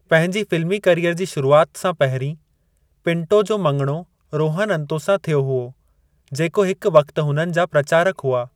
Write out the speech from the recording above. पंहिंजी फिल्मी करियर जी शुरुआत सां पहिरीं, पिंटो जो मङणो रोहन अंतो सां थियो हुओ, जेको हिकु वक़ति हुननि जा प्रचारकु हुआ।